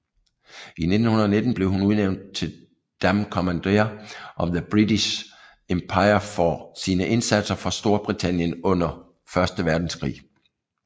I 1919 blev hun udnævnt til Dame Commander of the British Empire for sine indsatser for Storbritannien under 1